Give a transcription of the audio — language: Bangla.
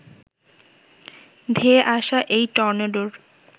ধেয়ে আসা এই টর্নেডোর